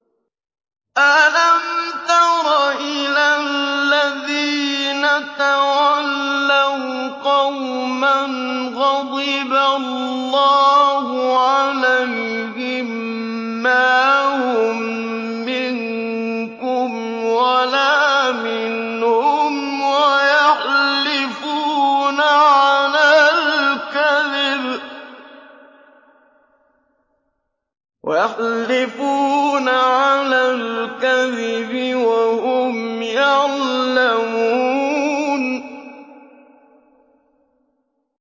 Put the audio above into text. ۞ أَلَمْ تَرَ إِلَى الَّذِينَ تَوَلَّوْا قَوْمًا غَضِبَ اللَّهُ عَلَيْهِم مَّا هُم مِّنكُمْ وَلَا مِنْهُمْ وَيَحْلِفُونَ عَلَى الْكَذِبِ وَهُمْ يَعْلَمُونَ